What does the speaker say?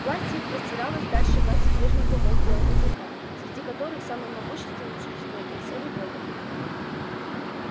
власть их простиралась дальше власти прежних богов белого клыка среди которых самым могущественным существом был серый бобр